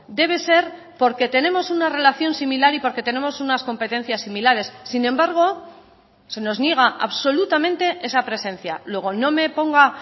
debe ser porque tenemos una relación similar y porque tenemos unas competencias similares sin embargo se nos niega absolutamente esa presencia luego no me ponga